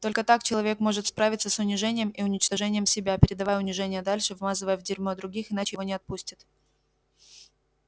только так человек может справиться с унижением и уничтожением себя передавая унижение дальше вмазывая в дерьмо других иначе его не отпустит